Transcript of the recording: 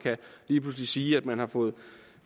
lige pludselig kan sige at man har fundet